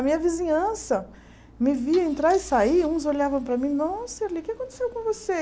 A minha vizinhança me via entrar e sair, uns olhavam para mim, nossa, o que é que aconteceu com você?